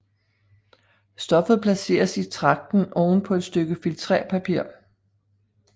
Stoffet placeres i tragten oven på et stykke filtrérpapir